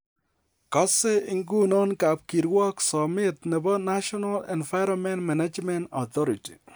Kose ingunon kapkirwok somet nebo National Environment Management Authority.